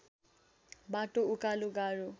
बाटो उकालो गाह्रो